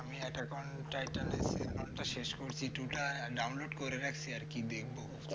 আমি Attack on Titan তা শেষ করেছি two টা download করে রাখছি আর কি দেখবো